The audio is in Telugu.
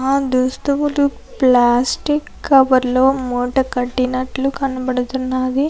ఆ దుస్తులు ప్లాస్టిక్ కవర్ లో మూట కట్టినట్లు కనబడుతున్నది.